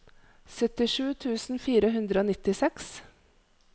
syttisju tusen fire hundre og nittiseks